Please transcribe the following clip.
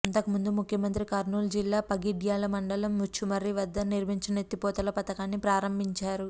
అంతకుముందు ముఖ్యమంత్రి కర్నూలు జిల్లా పగిడ్యాల మండలం ముచ్చుమర్రి వద్ద నిర్మించిన ఎత్తిపోతల పథకాన్ని ప్రారంభించారు